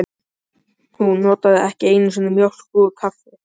Hún notaði ekki einu sinni mjólk út í kaffi.